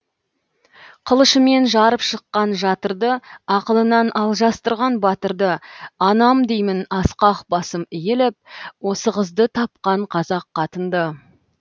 қылышымен жарып шыққан жатырды ақылынан алжастырған батырды анам деймін асқақ басым иіліп осы қызды тапқан қазақ қатынды